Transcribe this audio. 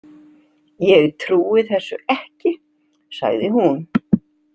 Ég trúi þessu ekki, sagði hún.